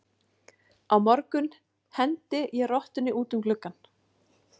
Á morgun hendi ég rottunni út um gluggann.